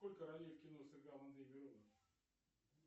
сколько ролей в кино сыграл андрей миронов